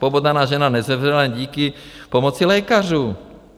Pobodaná žena nezemřela díky pomoci lékařů.